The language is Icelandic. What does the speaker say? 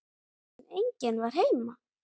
En enginn var heima.